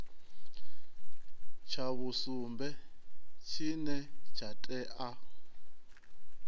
tsha vhusumbe tshine tsha tea